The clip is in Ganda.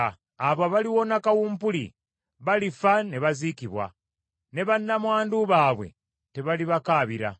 Abo abaliwona kawumpuli, balifa ne baziikibwa, ne bannamwandu baabwe tebalibakaabira.